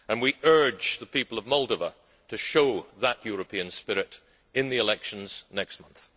We urge the people of Moldova to show that European spirit in the elections next month.